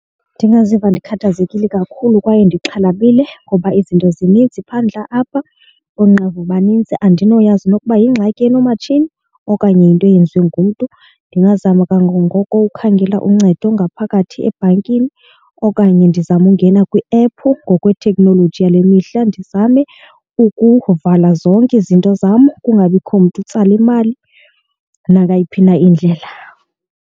Ndingaziva ndikhathazekile kakhulu kwaye ndixhalabile ngoba izinto zininzi phandle apha. Oonqevu banintsi andinokwazi nokuba yingxaki enomatshini okanye yinto eyenziwe ngumntu. Ndingazama kangangoko ukhangela uncedo ngaphakathi ebhankini okanye ndizame ungena kwiephu ngokwethekhnoloji yale mihla, ndizame ukuvala zonke izinto zam kungabikho mntu utsala imali nangayiphi na indlela.